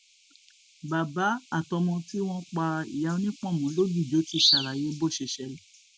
bàbá àtọmọ tí wọn pa ìyá onípọnmọ lògìjò ti ṣàlàyé bó ṣe ṣẹlẹ